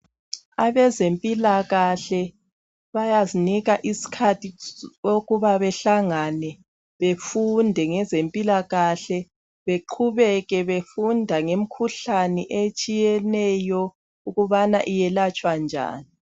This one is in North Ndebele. Abezempilakahle bayazinika isikhathi sokuba behlangane befunde ngezempilakahle, beqhubeke befunda ngemikhuhlane etshiyeneyo ukubana iyelatshwa njani.